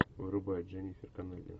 врубай дженнифер коннелли